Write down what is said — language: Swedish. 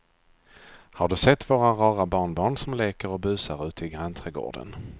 Har du sett våra rara barnbarn som leker och busar ute i grannträdgården!